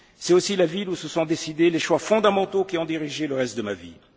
filles. C'est aussi la ville où se sont décidés les choix fondamentaux qui ont dirigé le reste de